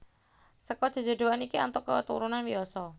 Seka jejodhoan iki antuk keturunan Wiyasa